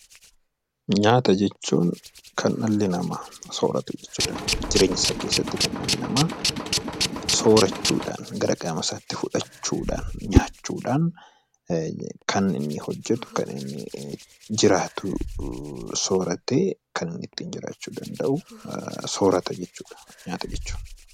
Nyaata jechuun kan dhalli namaa sooratu jechuudha. Jireenya isaa keessatti kan dhalli namaa soorachuudhaan gara qaama isaatti fudhachuudhaan, nyaachuudhaan, kan inni hojjetu kan inni jiraatu sooratee kan inni ittiin jiraachuu danda'u soorata jechuudha nyaata jechuudha.